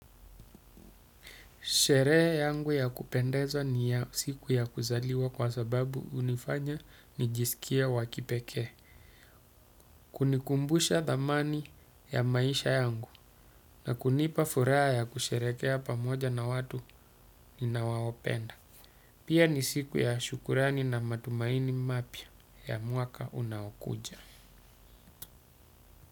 Sherehe yangu ya kupendezwa ni ya siku ya kuzaliwa kwa sababu hunifanya nijisikie wa kipekee. Kunikumbusha thamani ya maisha yangu na kunipa furaha ya kusherehekea pamoja na watu ninaowapenda. Pia ni siku ya shukurani na matumaini mapya ya mwaka unaokuja.